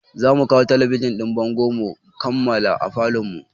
Za mu kawo talabijin ɗin bango mu maƙala a falon mu